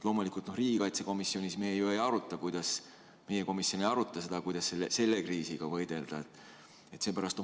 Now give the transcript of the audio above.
Riigikaitsekomisjonis me ju ei aruta seda, kuidas selle kriisiga võidelda.